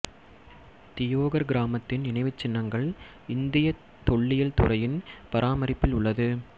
தியோகர் கிராமத்தின் நினைவுச் சின்னங்கள் இந்தியத் தொல்லியல் துறையின் பராமரிப்பில் உள்ளது